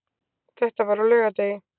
Þetta var á laugardegi.